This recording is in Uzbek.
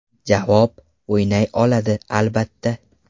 Javob: O‘ynay oladi, albatta.